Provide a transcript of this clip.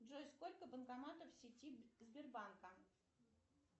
джой сколько банкоматов в сети сбербанка